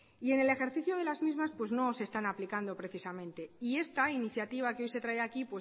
y en el ejercicio de las mismas pues no se están aplicando precisamente y esta iniciativa que hoy se trae aquí